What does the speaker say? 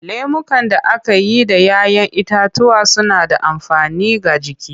Lemukan da aka yi da 'ya 'yan itatuwa suna da amfani ga jiki.